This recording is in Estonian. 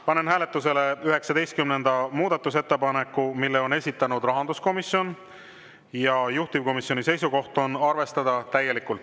Panen hääletusele 19. muudatusettepaneku, mille on esitanud rahanduskomisjon, juhtivkomisjoni seisukoht on arvestada täielikult.